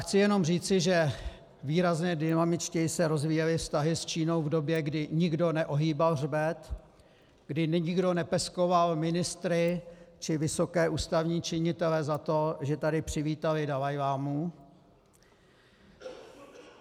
Chci jenom říci, že výrazně dynamičtěji se rozvíjely vztahy s Čínou v době, kdy nikdo neohýbal hřbet, kdy nikdo nepeskoval ministry či vysoké ústavní činitele za to, že tady přivítali dalajlámu.